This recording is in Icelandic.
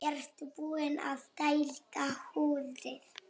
Ertu búinn að dælda húddið?